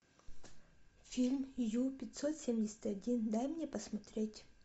фильм ю пятьсот семьдесят один дай мне посмотреть